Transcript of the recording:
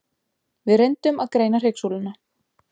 Við reyndum að greina hryggsúluna.